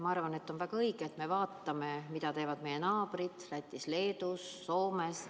Ma arvan, et on väga õige, et me vaatame, mida teevad meie naabrid Lätis, Leedus, Soomes.